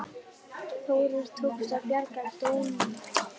Þórir: Tókst að bjarga dómunum?